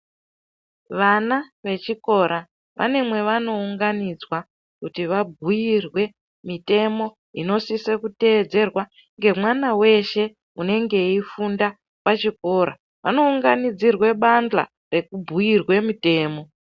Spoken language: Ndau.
Vana vechikora vane mwevanounganidzwa kuti vabhuirwe mitemo inosise kuteedzerwa ngemwana weshe unenge eifunda pachikora. Vanounganidzirwe pabandla rekubhuirwe mitemo.